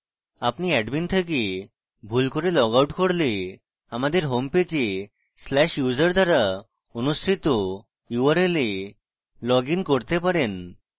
আপনি admin থেকে ভুল করে লগ out করলে আমাদের হোমপেজে/user দ্বারা অনুসৃত url এ লগ in করতে পারেন